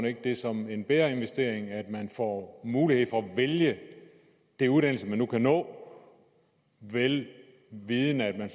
ikke det som en bedre investering at man får mulighed for at vælge den uddannelse man nu kan nå vel vidende at man